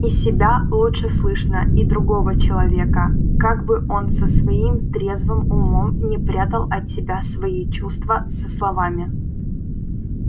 и себя лучше слышно и другого человека как бы он со своим трезвым умом не прятал от тебя свои чувства за словами